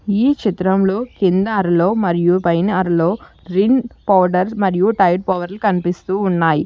ఈ చిత్రంలో కింద అర్లో మరియు పైన అర్లో రిన్ పౌడర్ మరియు టైడ్ పౌడర్లు కనిపిస్తూ ఉన్నాయి.